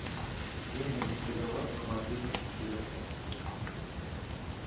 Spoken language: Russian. денежный перевод на мобильный телефон